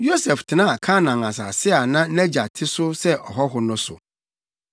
Yosef tenaa Kanaan asase a na nʼagya te so sɛ ɔhɔho no so.